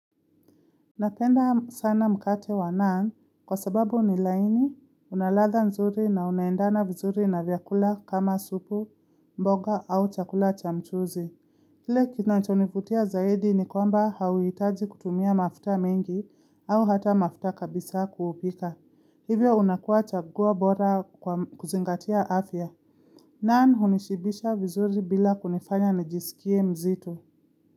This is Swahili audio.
Napenda sana mkate wa naan kwa sababu ni laini, unaladha nzuri na unaendana vizuri na vyakula kama supu, mboga au chakula cha mchuzi. Kile kinacho nivutia zaidi ni kwamba hauhitaji kutumia mafuta mengi au hata mafuta kabisa kuupika. Hivyo unakuwa chaguo bora kwa kuzingatia afya. Naan unishibisha vizuri bila kunifanya najisikie mzito.